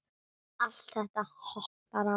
Allt þetta hottar á.